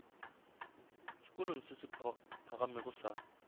sekolong se se phagamego sa